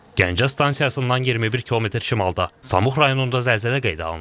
Gəncə stansiyasından 21 km şimalda Samux rayonunda zəlzələ qeydə alınıb.